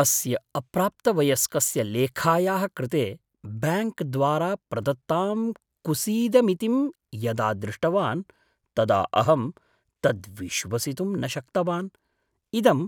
अस्य अप्राप्तवयस्कस्य लेखायाः कृते ब्याङ्क् द्वारा प्रदत्तां कुसीदमितिं यदा दृष्टवान् तदा अहं तद् विश्वसितुं न शक्तवान्, इदं